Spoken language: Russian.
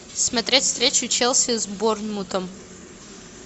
смотреть встречу челси с борнмутом